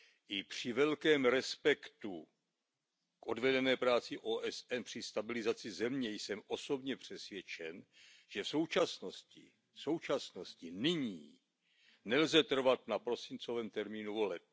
I při velkém respektu k odvedené práci OSN při stabilizaci země jsem osobně přesvědčen, že v současnosti, nyní, nelze trvat na prosincovém termínu voleb.